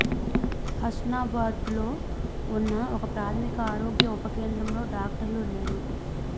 హస్నాబాద్లో ఉన్న ఒక ప్రాథమిక ఆరోగ్య ఉప కేంద్రంలో డాక్టర్లు లేరు